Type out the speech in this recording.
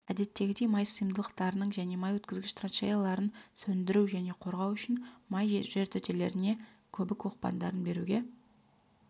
әдеттегідей май сыйымдылықтарының және май өткізгіш траншеяларын сөндіру және қорғау үшін май жертөлелеріне көбік оқпандарын беруге